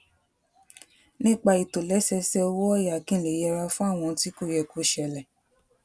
nípa ìtòlésẹẹsẹ owó òyà kí n lè yẹra fún àwọn ohun tí kò yẹ kó ṣẹlè